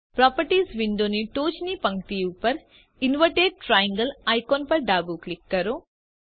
properties વિન્ડોની ટોચની પંક્તિ ઉપર ઇન્વર્ટેડ ટ્રાયેંગલ આઇકોન પર ડાબું ક્લિક કરો